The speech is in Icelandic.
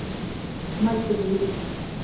Mældi mig út.